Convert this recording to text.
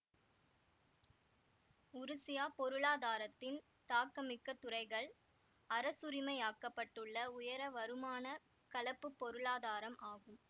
உருசியா பொருளாதாரத்தின் தாக்கமிக்க துறைகள் அரசுரிமையாக்கப்பட்டுள்ள உயர வருமான கலப்புப் பொருளாதாரம் ஆகும்